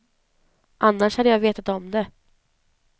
Annars hade jag vetat om det.